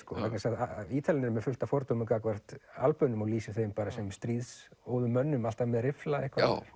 vegna þess að Ítalinn er með fullt af fordómum gagnvart Albönum og lýsir þeim sem stríðsóðum mönnum alltaf með riffla að